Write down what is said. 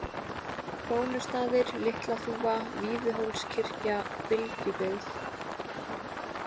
Krónustaðir, Litlaþúfa, Víðihólskirkja, Bylgjubyggð